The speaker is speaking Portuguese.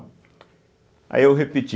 Aí eu repeti.